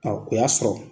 o y'a sɔrɔ